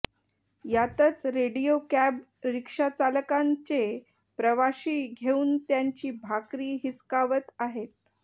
यातच radio cab rickshaw चालकांचे प्रवाशी घेऊन त्यांची भाकरी हिसकावत आहेत